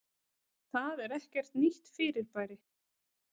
Það er ekkert nýtt fyrirbæri.